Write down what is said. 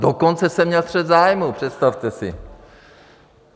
Dokonce jsem měl střet zájmů, představte si.